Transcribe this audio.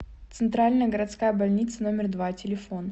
центральная городская больница номер два телефон